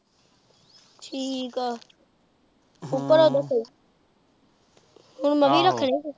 ਠੀਕ ਆ ਹੁਣ ਮੈਂ ਵੀ ਰੱਖਣੇ।